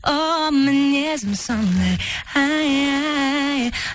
оу мінезім сондай ай ай